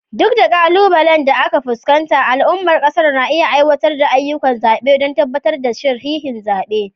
Duk da ƙalubalen da ake fuskanta, al'ummar ƙasar na aiwatar da ayyukan zaɓe don tabbatar da sahihin zaɓe.